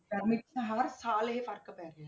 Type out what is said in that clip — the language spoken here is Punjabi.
ਗਰਮੀ 'ਚ ਤਾਂ ਹਰ ਸਾਲ ਇਹ ਫ਼ਰਕ ਪੈ ਗਿਆ।